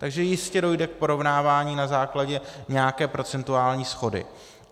Takže jistě dojde k porovnávání na základě nějaké procentuální shody.